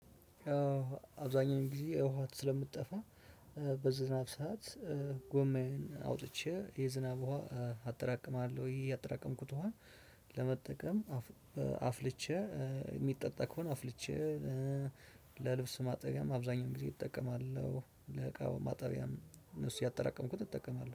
አብዛኛውን ጊዜ ውሃ ስለምትጠፋኝ በዝናብ ሰዓት ጎማዬን አውጥቼ የዝናብ ውሃ አጠራቅማለሁ እህ ያጠራቀምኩት ውሃ ለመጠቀም አፍልቼ የሚጠጣ ከሆነ አፍልቼ። ለልብስ ማጠቢያም አብዛኛውን ጊዜ እጠቀማለሁ ለዕቃው ማጠቢያም እነሱ ያጠራቀምኩት እጠቀማለሁ